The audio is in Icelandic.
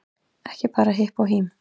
Ekki bara hipp og hím